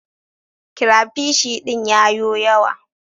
Crapishi din ya yo yawa.